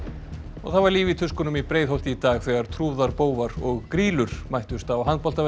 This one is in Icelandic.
það var líf í tuskunum í Breiðholti í dag þegar trúðar bófar og grýlur mættust á